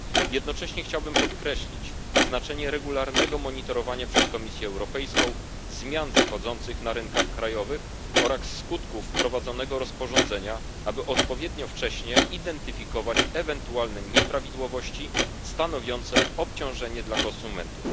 Jednocześnie chciałbym podkreślić znaczenie regularnego monitorowania przez Komisję Europejską zmian zachodzących na rynkach krajowych oraz skutków wprowadzonego rozporządzenia, aby odpowiednio wcześnie identyfikować ewentualne nieprawidłowości stanowiące obciążenie dla konsumentów.